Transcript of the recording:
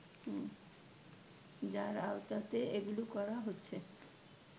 যার আওতাতেই এগুলো করা হচ্ছে